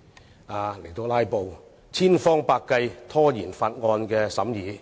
"拉布"，千方百計拖延《條例草案》的審議。